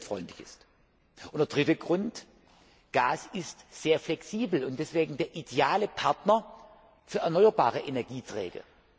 Und der dritte Grund Gas ist sehr flexibel und daher der ideale Partner für erneuerbare Energieträger.